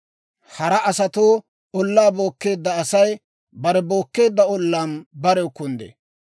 Hara asatoo ollaa bookkeedda asay bare bookkeedda ollaan barew kunddee.